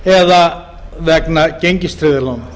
eða vegna gengistryggðra lána